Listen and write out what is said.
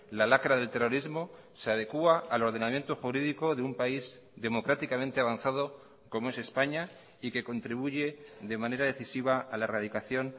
la lacra del terrorismo se adecua al ordenamiento jurídico de un país democráticamente avanzado como es españa y que contribuye de manera decisiva a la erradicación